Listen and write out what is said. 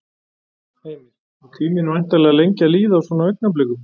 Heimir: Og tíminn væntanlega lengi að líða á svona augnablikum?